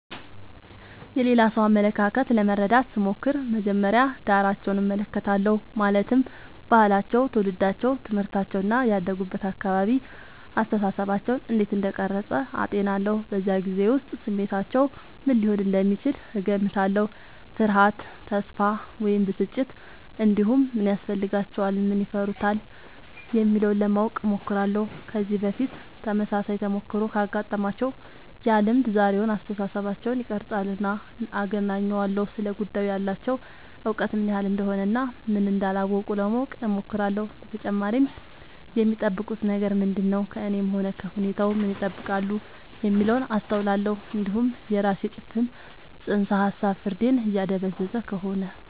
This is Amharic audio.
የሌላ ሰው አመለካከት ለመረዳት ስሞክር መጀመሪያ ዳራቸውን እመለከታለሁ ማለትም ባህላቸው ትውልዳቸው ትምህርታቸው እና ያደጉበት አካባቢ አስተሳሰባቸውን እንዴት እንደቀረጸ አጤናለሁ በዚያ ጊዜ ውስጥ ስሜታቸው ምን ሊሆን እንደሚችል እገምታለሁ ፍርሃት ተስፋ ወይም ብስጭት እንዲሁም ምን ያስፈልጋቸዋል ምን ይፈሩታል የሚለውን ለማወቅ እሞክራለሁ ከዚህ በፊት ተመሳሳይ ተሞክሮ ካጋጠማቸው ያ ልምድ ዛሬውን አስተሳሰባቸውን ይቀርፃልና አገናኘዋለሁ ስለ ጉዳዩ ያላቸው እውቀት ምን ያህል እንደሆነ እና ምን እንዳላወቁ ለማወቅ እሞክራለሁ በተጨማሪም የሚጠብቁት ነገር ምንድነው ከእኔም ሆነ ከሁኔታው ምን ይጠብቃሉ የሚለውን አስተውላለሁ እንዲሁም የራሴ ጭፍን ጽንሰ ሀሳብ ፍርዴን እያደበዘዘ ከሆነ